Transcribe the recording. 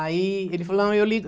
Aí ele falou, eu ligo.